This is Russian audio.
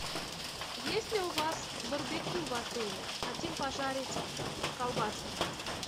есть ли у вас барбекю в отеле хотим пожарить колбаски